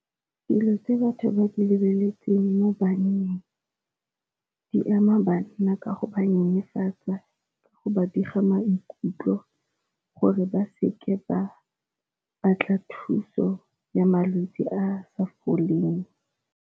Dilo tse batho ba di lebeletseng mo banneng di ama banna ka go ba nyenyefatswa, go ba diga maikutlo gore ba seke ba batla thuso ya malwetsi a sa foleng.